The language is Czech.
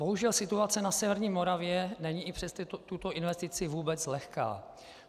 Bohužel situace na severní Moravě není i přes tuto investici vůbec lehká.